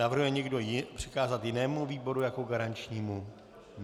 Navrhuje někdo přikázat jinému výboru jako garančnímu?